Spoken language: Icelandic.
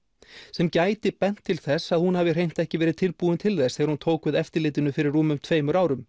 sem gæti bent til þess að hún hafi hreint ekki verið tilbúin til þess þegar hún tók við eftirlitinu fyrir rúmum tveimur árum